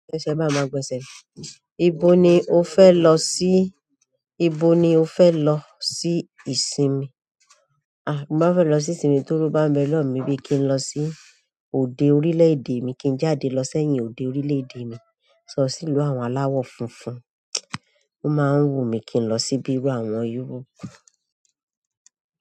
Ẹsẹ̀ máa ma gbọ̀nsẹ̀. Ibo ni ó fẹ lọ sí? Ibo ni ó fẹ lọ sí ìsinmi? Tí mo bá fẹ lọ nisisin tí owó bá ń bẹ lọwọ mi. Bí kín lọ sí ogun orílẹ̀-èdè mi, kín jáde lọ sí ẹyin òde orílẹ̀-èdè mi. Kín lọ sí ìlú àwọn alawọ funfun. Ó máa ń wù mi kín lọ sí bí irú àwọn Europe.